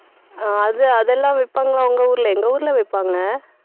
தெரியலை அக்கா